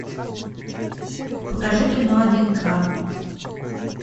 покажи кино один грамм